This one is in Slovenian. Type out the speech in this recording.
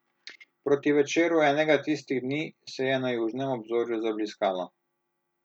Proti večeru enega tistih dni se je na južnem obzorju zabliskalo.